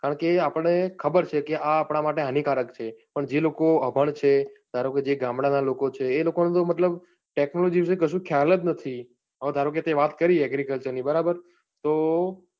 કારણકે આપણે ખબર છે કે આ આપણા માટે હાનીકારક છે પણ જે લોકો અભણ છે, ધારો કે જે ગામડા ના લોકો છે એ લોકો મતલબ technology વિષે કશું ખ્યાલ જ નથી હવે ધારો કે તે વાત કરી agriculture ની બરાબર તો